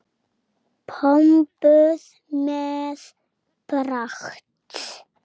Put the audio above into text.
Pompuð með pragt.